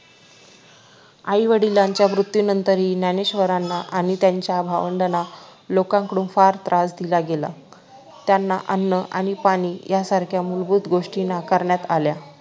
आई वडिलांच्या मृत्यूनंतरही ज्ञानेश्वरांना आणि त्यांच्या भावंडाना लोकांकडून फार त्रास दिला गेला त्यांना अन्न आणि पाणी यासारख्या मूलभूत गोष्टी नाकारण्यात आल्या